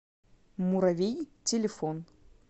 муравей телефон